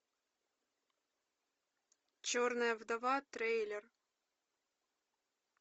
черная вдова трейлер